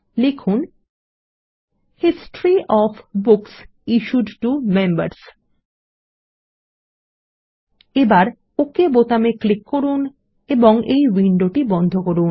লিখুন history of books issued to members এবার OK বোতামে ক্লিক করুন এবং এই উইন্ডোটি বন্ধ করুন